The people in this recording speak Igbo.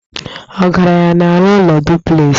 Ọgaranya na-arụ ụlọ duplexị